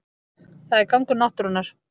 Það er gangur náttúrunnar